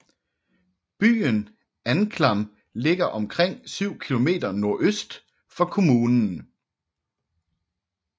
Byen Anklam ligger omkring syv kilometer nordøst for kommunen